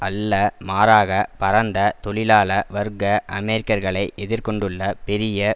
அல்ல மாறாக பரந்த தொழிலாள வர்க்க அமெரிக்கர்களை எதிர் கொண்டுள்ள பெரிய